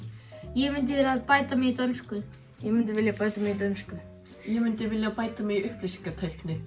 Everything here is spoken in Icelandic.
ég myndi vilja bæta mig í dönsku ég myndi vilja bæta mig í dönsku ég myndi vilja bæta mig í upplýsingatækni